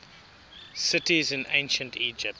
cities in ancient egypt